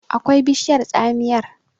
akwai bishiyar tsamiyar